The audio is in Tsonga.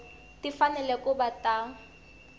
ti fanele ku va ta